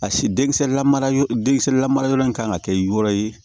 A si denkisɛ lamarayɔrɔ den kisɛlamarayɔrɔ in kan ŋa kɛ yɔrɔ ye